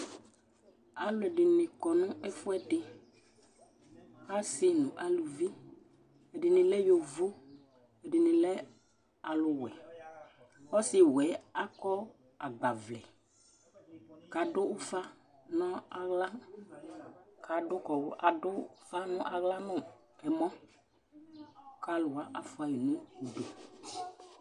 Aluɛdini kɔ nu ɛfuɛdi, asi nu aluvi, ɛdini lɛ yovó, ɛdini lɛ aluwɛ Ɔsiwɛ̃ akɔ agbavlɛ k'adu ufa n'aɣla nu ɛmɔ k'aluwa afua yi k'ɔdu